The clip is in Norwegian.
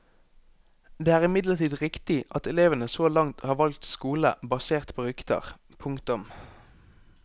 Det er imidlertid riktig at elevene så langt har valgt skole basert på rykter. punktum